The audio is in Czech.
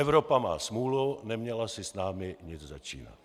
Evropa má smůlu, neměla si s námi nic začínat.